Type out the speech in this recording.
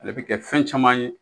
Ale bɛ kɛ fɛn caman ye